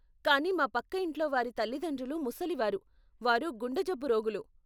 కానీ మా పక్క ఇంట్లోవారి తల్లితండ్రులు ముసలివారు, వారు గుండెజబ్బు రోగులు.